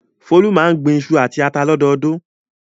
Folú máa ń gbin iṣu àti ata lọ́dọọdún.